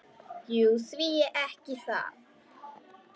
Jú, því ekki það?